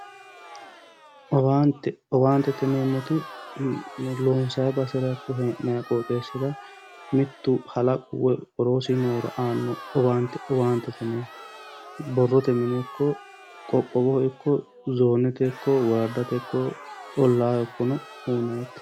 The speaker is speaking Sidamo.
Owaante owaanteteyineemmoti loonsayi basera ikko hee'nayi qooxeessira mittu murrichu woyi aliidihu aanno owaante owaantete yineemmo borrote mine ikko qoqqowoho ikko zoonete woradaho ollaaho ikko uyinayite.